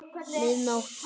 Mið nótt!